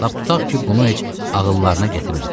Lap tutaq ki, bunu heç ağıllarına gətirmədilər.